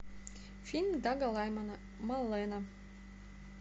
фильм дага лаймана малена